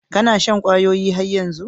Ka na yin shan kwayoyi har yanzu?